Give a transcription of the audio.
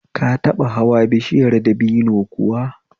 Ka taɓa hanwa bishiyar dabino kuwa?